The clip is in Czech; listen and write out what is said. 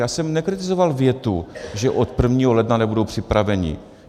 Já jsem nekritizoval větu, že od 1. ledna nebudou připraveni.